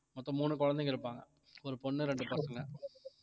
மொத்தம் மூணு குழந்தைங்க இருப்பாங்க ஒரு பொண்ணு இரண்டு பசங்க